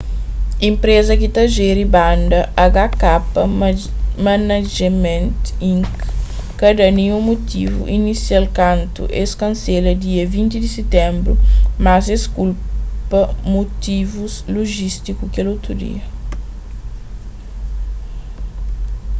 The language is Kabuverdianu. enpreza ki ta jeri banda hk management inc ka da ninhun mutivu inisial kantu es kansela dia 20 di sitenbru mas es kulpa mutivus lojístiku kel otu dia